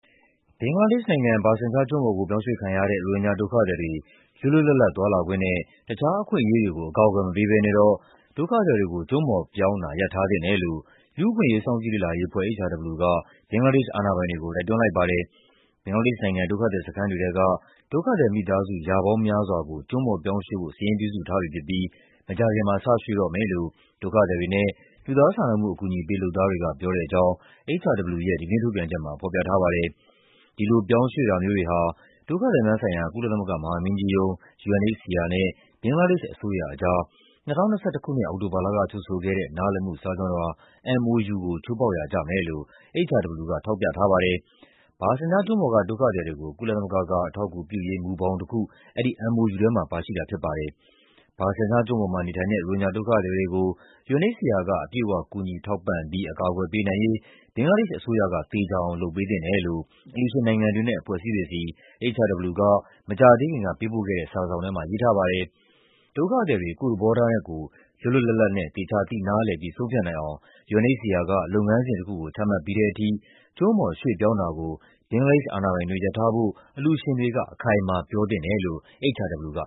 ဘင်္ဂလားဒေ့ရှ်နိုင်ငံ၊ Bhasan Char ကျွန်းပေါ်ကို ပြောင်းရွှေ့ခံရတဲ့ ရိုဟင်ဂျာဒုက္ခသည်တွေ လွတ်လွတ်လပ်လပ်သွားလာခွင့်နဲ့ တခြားအခွင့်အရေးတွေကို အကာအကွယ်မပေးဘဲနဲ့တော့ ဒုက္ခသည်တွေကို ကျွန်းပေါ်ပြောင်းတာ ရပ်ထားသင့်တယ်လို့ လူ့အခွင့်အရေးစောင့်ကြည့်လေ့လာရေးအဖွဲ့ (HRW) က ဘင်္ဂလား ဒေ့ရှ်အာဏာပိုင်တွေကို တိုက်တွန်းလိုက်ပါတယ်။ ဘင်္ဂလားဒေ့ရှ်နိုင်ငံ၊ ဒုက္ခသည်စခန်းတွေထဲက ဒုက္ခသည်မိသားစု ရာပေါင်းများစွာကို ကျွန်းပေါ်ပြောင်းရွှေ့ဖို့ စာရင်းပြုစုထားပြီဖြစ်ပြီး မကြာခင်မှာ စရွှေ့တော့မယ်လို့ ဒုက္ခသည်တွေနဲ့ လူသားစာနာမှုအကူအညီပေး လုပ်သားတွေက ပြောတဲ့အကြောင်း HRW ရဲ့ ဒီကနေ့ထုတ်ပြန်ချက်မှာ ဖော်ပြထားပါတယ်။ ဒီလိုပြောင်းရွှေ့တာမျိုးတွေဟာ ဒုက္ခသည်များဆိုင်ရာ ကုလသမဂ္ဂမဟာမင်းကြီးရုံး (UNHCR) နဲ့ ဘင်္ဂလားဒေ့ရှ်အစိုးရကြား ၂၀၂၁ ခုနှစ်၊ အောက်တိုဘာလက ချုပ်ဆိုခဲ့တဲ့ နားလည်မှုစာချွန်လွှာ (MoU) ကို ချိုးဖောက်ရာကျမယ်လို့ HRW က ထောက်ပြထားပါတယ်။ Bhasan Char ကျွန်းပေါ်က ဒုက္ခသည်တွေကို ကုလသမဂ္ဂက အထောက်အကူပြုရေး မူဘောင်တခု အဲဒီ MoU ထဲမှာ ပါရှိတာဖြစ်ပါတယ်။ Bhasan Char ကျွန်းပေါ်မှာနေထိုင်တဲ့ ရိုဟင်ဂျာဒုက္ခသည်တွေကို UNHCR က အပြည့်အဝ ကူညီထောက်ပံ့ပြီး အကာအကွယ်ပေးနိုင်ရေး ဘင်္ဂလားဒေ့ရှ်အစိုးရက သေချာအောင် လုပ်ပေးသင့်တယ်လို့ အလှူရှင်နိုင်ငံတွေ နဲ့ အဖွဲ့အစည်းတွေဆီ HRW က မကြာသေးခင်ကပေးပို့ခဲ့တဲ့ စာတစောင်ထဲမှာ ရေးထားပါတယ်။ ဒုက္ခသည်တွေ ကိုယ့်သဘောထားနဲ့ကိုယ် လွတ်လွတ်လပ်လပ်နဲ့ သေချာသိနားလည်ပြီး ဆုံးဖြတ်နိုင်အောင် UNHCR က လုပ်ငန်းစဉ်တခုကို ချမှတ်ပြီးတဲ့ထိ ကျွန်းပေါ် ရွှေ့ပြောင်းတာကို ဘင်္ဂလားဒေ့ရှ်အာဏာပိုင်တွေ ရပ်ထားဖို့ အလှူရှင်တွေက အခိုင်အမာပြောသင့်တယ်လို့ HRW က